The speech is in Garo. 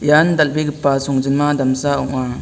ian dal·begipa songjinma damsa ong·a.